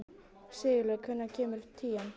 Sigurleifur, hvenær kemur tían?